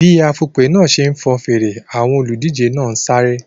Bí afùnpè náà ṣe fọn fèrè, àwọn olùdíje náà sáré.